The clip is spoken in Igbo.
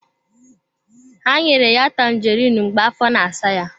Ha nyere ya Tanjeriin mgbe afọ na-asa ya.